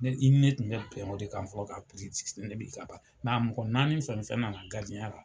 i ni tun be bɛn o de kan fɔlɔ kan a mɔgɔ n naani fɛn fɛn nana garidiɲɛ ya la